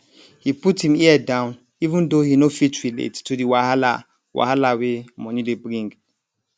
he put him ear down even tho he no fit relate to the wahala wahala wey money dey bring